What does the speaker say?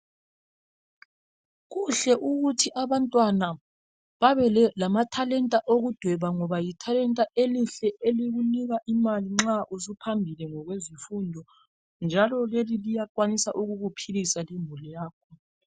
Kuhle ukuthi abantwana babelamathalenta okudweba ngoba lithalenta elihle elikunika imali nxa usuphambili ngokwezifundo njalo leli liyakwanisa ukukuphilisa lemuli yakho.